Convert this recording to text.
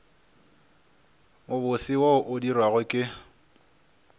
mobose wo o dirwago ke